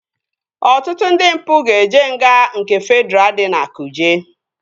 Ọtụtụ ndị mpụ ga-eje nga nke Fedraa dị na kuje